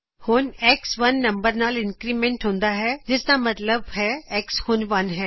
ਅੱਗੇ X 1 ਨੰਬਰ ਨਾਲ ਇੰਕਰੀਮੇਂਟ ਹੁੰਦਾ ਹੈ ਜਿਸਦਾ ਮਤਲਬ ਹੈ X ਹੁਣ 1 ਹੈ